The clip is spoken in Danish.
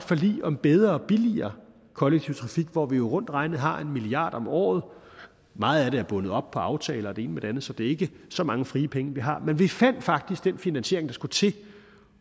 forlig om bedre og billigere kollektiv trafik hvor vi jo rundt regnet har en milliard kroner om året meget af det er bundet op på aftaler og det ene med det andet så det er ikke så mange frie penge vi har men vi fandt faktisk den finansiering der skulle til